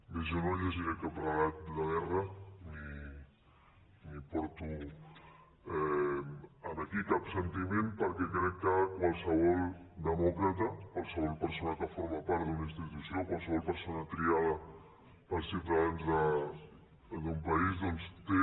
bé jo no llegiré cap relat de guerra ni porto aquí cap sentiment perquè crec que qualsevol demòcrata qualsevol persona que forma part d’una institució qualsevol persona triada pels ciutadans d’un país doncs té